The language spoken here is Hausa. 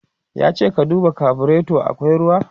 yace da shi " ka duba carburator akwai ruwa!"